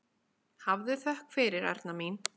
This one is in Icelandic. Hafðu þökk fyrir, Erna mín.